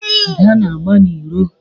Ada na-agba n'iro.